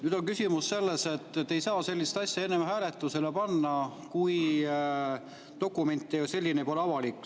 Nüüd on küsimus selles, et te ei saa sellist asja enne hääletusele panna, kui dokument ei ole avalik.